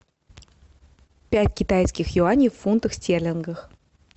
пять китайских юаней в фунтах стерлингах